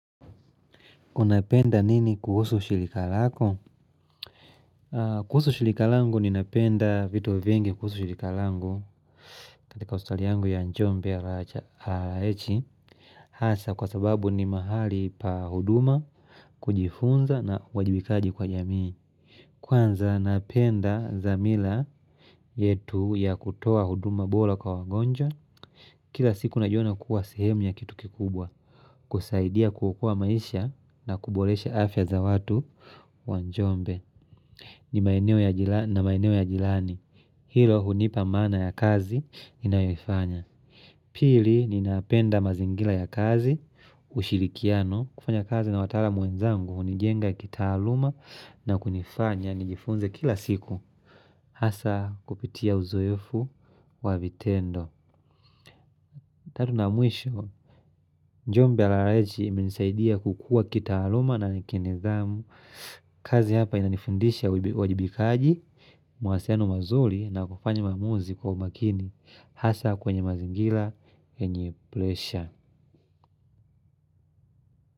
Unapenda nini kuhusu shilikalako? Kuhusu shilikalangu ninapenda vito vengi kuhusu shilikalangu katika australiangu ya njombe ya lacha haechi Hasa kwa sababu ni mahali pa huduma, kujifunza na uwajibikaji kwa jamii Kwanza napenda zamila yetu ya kutoa huduma bola kwa wagonja Kila siku najiona kuwa sehemu ya kitu kikubwa kusaidia kukua maisha na kubolesha afya za watu wanjombe ni maeneo ya jirani Hilo hunipa maana ya kazi ninaayofanya Pili ninapenda mazingila ya kazi ushirikiano kufanya kazi na watala muenzangu hunijenga kitaaluma na kunifanya nijifunze kila siku Hasa kupitia uzoefu wa vitendo Tedu na mwisho Njumbe rais minisaidia kukua kita aluma na nikinezamu kazi hapa inanifundisha uwajibikaji Mwasenuh mazuli na kufanya mamuzi kwa makini Hasa kwenye mazingila enye plesha.